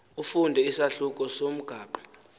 ufunde isahluko somgaqo